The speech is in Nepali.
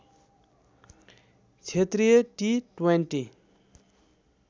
क्षेत्रीय टिट्वान्टी